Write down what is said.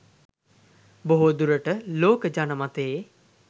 බොහෝ දුරට ලෝක ජන මතයේ